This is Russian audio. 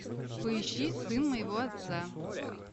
поищи сын моего отца